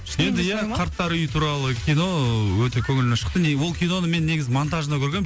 енді ия қарттар үйі туралы кино өте көңілімнен шықты не ол киноны мен негізі монтажында көргенмін